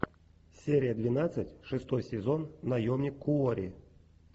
серия двенадцать шестой сезон наемник куори